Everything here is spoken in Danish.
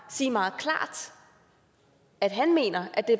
at sige meget klart at han mener at det